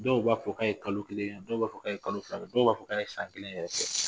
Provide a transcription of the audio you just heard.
Dɔw b'a fɔ k'a ye kalo kelen kɛ dɔw b'a fɔ k'a ye kalo fila kɛ dɔw b'a fɔ k'a ye san kelen yɛrɛ kɛ